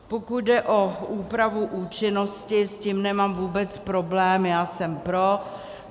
Pokud jde o úpravu účinnosti, s tím nemám vůbec problém, j jsem pro.